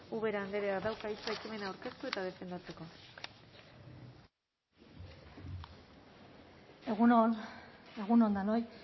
ubera andreak dauka hitza ekimena aurkeztu eta defendatzeko egun on egun on denoi